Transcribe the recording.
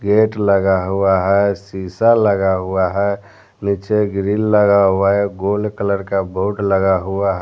net लगा हुआ है सीसा लगा हुआ है नीचे ग्रीन लगा हुआ है गोल्ड कलर का बोर्ड लगा हुआ --